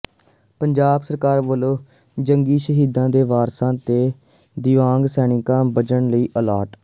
ਪੰਜਾਬ ਸਰਕਾਰ ਵੱਲੋਂ ਜੰਗੀ ਸ਼ਹੀਦਾਂ ਦੇ ਵਾਰਸਾਂ ਤੇ ਦਿਵਿਆਂਗ ਸੈਨਿਕਾਂ ਬਜਟ ਲਈ ਅਲਾਟ